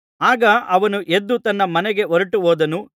ಆಗ ಅವನು ಎದ್ದು ತನ್ನ ಮನೆಗೆ ಹೊರಟುಹೋದನು